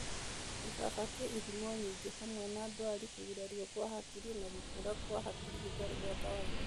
Gĩbaba kĩ ihumo nyingĩ, hamwe na ndwari, kũgurario kwa hakiri na gũkũra kwa hakiri gũtarĩ gwa kawaida.